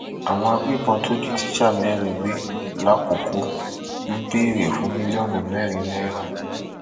àwọn agbébọn tó jí tíṣà mẹrin gbé làkoko ń béèrè fún mílíọnù mẹrin náírà